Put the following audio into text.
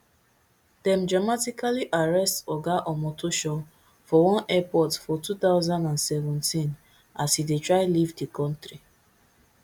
dem dramatically arrest oga omotoso for one airport for two thousand and seventeen as e dey try leave di kontri